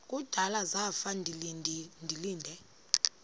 kudala zafa ndilinde